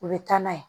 U bɛ taa n'a ye